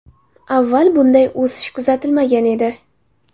Avval bunday o‘sish kuzatilmagan edi.